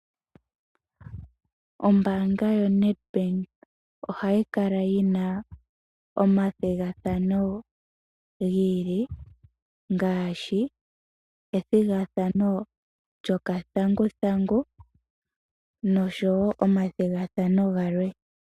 Ombaanga yo Nedbank ohayi kala yi na omathigathano gi ili, ngaashi ethigathano lyokathanguthangu noshowo omathigathano galwe.